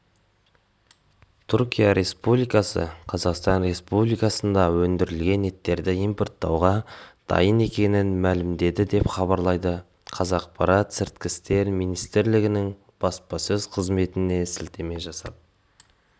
түркия республикасы қазақстан республикасында өндірілген еттерді импорттауға дайын екенін мәлімдеді деп хабарлайды қазақпарат сыртқы істер министрлігінің баспасөз қызметіне сілтеме жасап